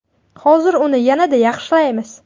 Hozir uni yanada yaxshilaymiz!